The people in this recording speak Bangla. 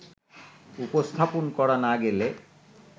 উপস্থাপন করা না গেলে